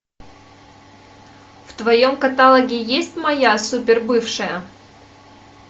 в твоем каталоге есть моя супербывшая